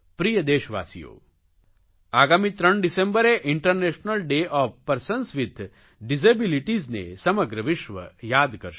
પ્રિય દેશવાસીઓ આગામી ત્રણ ડિસેમ્બરે international day of persons with disabilities ને સમગ્ર વિશ્વ યાદ કરશે